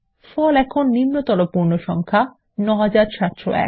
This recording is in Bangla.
ফল এখন নিম্নতর পূর্ণ সংখ্যা ৯৭০১